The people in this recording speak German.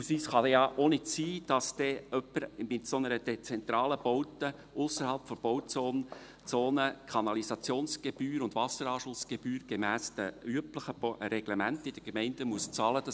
Beispielsweise kann es ja auch nicht sein, dass dann jemand in einer solch dezentralen Baute ausserhalb der Bauzone Kanalisationsgebühr und Wasseranschlussgebühr gemäss den üblichen Reglementen in der Gemeinde bezahlen muss.